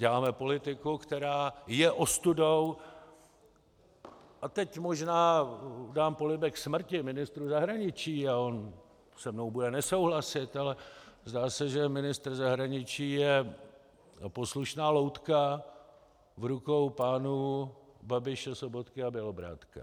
Děláme politiku, která je ostudou, a teď možná dám polibek smrti ministru zahraničí a on se mnou bude nesouhlasit, ale zdá se, že ministr zahraničí je poslušná loutka v rukou pánů Babiše, Sobotky a Bělobrádka.